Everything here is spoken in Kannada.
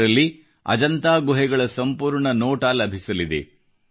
ಇದರಲ್ಲಿ ಅಜಂತಾ ಗುಹೆಗಳ ಸಂಪೂರ್ಣ ನೋಟ ಲಭಿಸಲಿದೆ